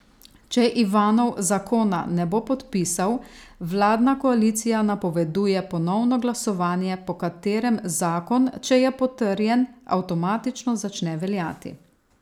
Če Ivanov zakona ne bo podpisal, vladna koalicija napoveduje ponovno glasovanje, po katerem zakon, če je potrjen, avtomatično začne veljati.